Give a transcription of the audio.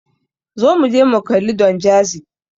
Zo muje mu kalli Don Jazzy.